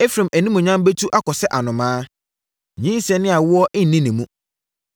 Efraim animuonyam bɛtu akɔ sɛ anomaa, nyinsɛn ne awoɔ nni ne mu.